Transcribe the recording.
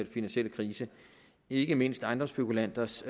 finansielle krise ikke mindst ejendomsspekulanters